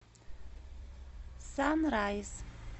санрайз